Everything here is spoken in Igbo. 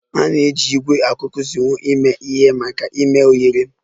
A na-eji ígwè akuakuzinwo eme ihe maka ime oghere